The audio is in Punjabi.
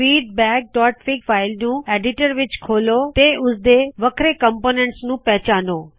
feedbackਫਿਗ ਫਾਇਲ ਨੂੰ ਐਡਿਟਰ ਵਿੱਚ ਖੋਲੋ ਤੇ ਅਤੇ ਉਸਦੇ ਵੱਖਰੇ ਘਟਕਾਂ ਨੂੰ ਪਹਚਾਣੋ